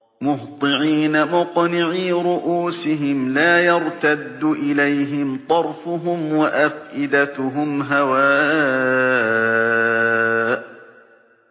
مُهْطِعِينَ مُقْنِعِي رُءُوسِهِمْ لَا يَرْتَدُّ إِلَيْهِمْ طَرْفُهُمْ ۖ وَأَفْئِدَتُهُمْ هَوَاءٌ